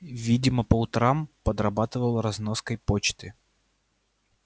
видимо по утрам подрабатывал разноской почты